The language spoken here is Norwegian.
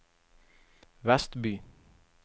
Vestby